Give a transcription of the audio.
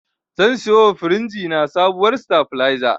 Zan siyowa firinji na sabuwar sitabileza.